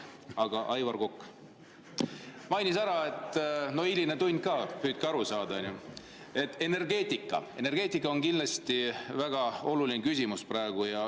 Aga Aivar Kokk mainis ära – no hiline tund ka, püüdke aru saada –, et energeetika on kindlasti väga oluline küsimus praegu.